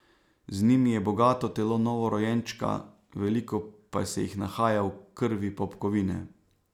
Z njimi je bogato telo novorojenčka, veliko pa se jih nahaja v krvi popkovine.